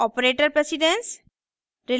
operator precedence